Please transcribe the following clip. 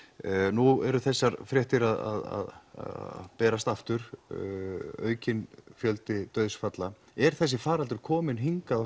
nú eru þessar fréttir að berast aftur aukinn fjöldi dauðsfalla er þessi faraldur kominn hingað